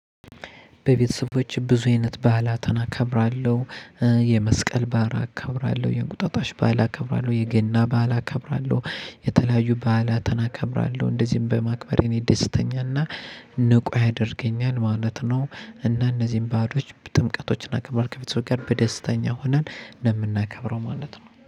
በቤተሰቦች ብዙ አይነት ባህላትን አከብራለሁ። የመስቀል በዓል አከብራለሁ፤ የእንቁጣጣሽ በዓል አከብራለሁ፤ የገና በዓል አከብራለሁ፤ የተለያዩ በዓላትን አከብራለሁ። እንደዚህም በማክበሬ እኔ ደስተኛና ንቁ ያደርገኛል ማለት ነው። እና እነዚህን በዓሎች ጥምቀቶችን ክብሮች ከቤተሰቦች ጋር በደስተኛ ሆነን ነው የምናከብረው ማለት ነው።